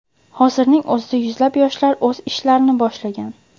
Hozirning o‘zida yuzlab yoshlar o‘z ishlarni boshlashgan.